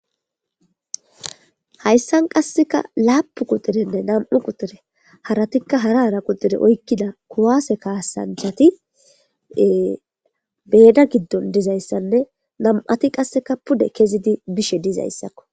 Hayssan qasseka laappun kuxxurenne nami'u kuxxure haratikka hara hara kuxxure oykkida kuwase kaasanchchati meeda giddon dizayssanne nami'ati qasse pude kezidi bizayssako.